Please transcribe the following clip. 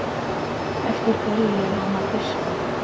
Eftir hverju er hann að fiska?